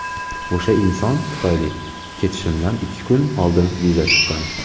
O‘sha inson tufayli ketishimdan ikki kun oldin viza chiqqan.